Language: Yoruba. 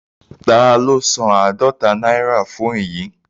Taló san àádọta náírà fún èyí?